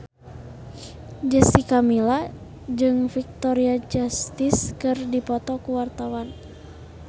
Jessica Milla jeung Victoria Justice keur dipoto ku wartawan